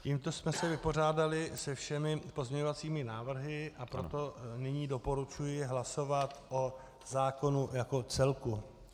Tímto jsme se vypořádali se všemi pozměňovacími návrhy, a proto nyní doporučuji hlasovat o zákonu jako celku.